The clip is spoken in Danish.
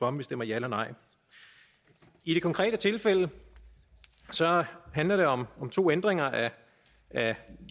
om vi stemmer ja eller nej i det konkrete tilfælde handler det om to ændringer af